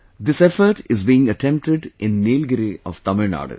This effort is being attempted in Nilgiri of Tamil Nadu